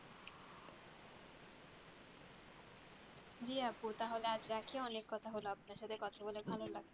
জি আপু তাহলে আজ রাখি অনেক কথা হলো আপনার সাথে কথা বলে ভালো লাগলো